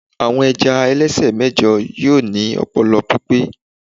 àwọn ẹja ẹlẹsẹ mẹjọ yíò ni ọpọlọ pipẹ